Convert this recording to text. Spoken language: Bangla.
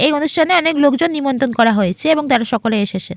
এই অনুষ্ঠানে অনেক লোকজন নিমন্ত্রণ করা হয়েছে এবং তারা সকলে এসেসে।